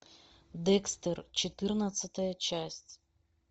декстер четырнадцатая часть